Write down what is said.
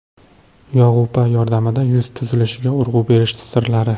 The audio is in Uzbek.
Yog‘upa yordamida yuz tuzilishiga urg‘u berish sirlari.